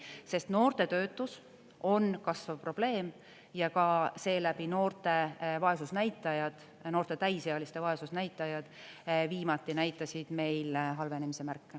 Sest noorte töötus on kasvav probleem ja ka seeläbi noorte vaesusnäitajad, noorte täisealiste vaesusnäitajad viimati näitasid meil halvenemise märke.